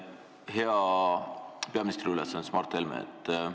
Hea peaministri ülesannetes Mart Helme!